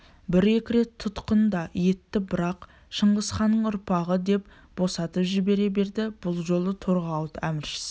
бір-екі рет тұтқын да етті бірақ шыңғысханның ұрпағы деп босатып жібере берді бұл жолы торғауыт әміршісі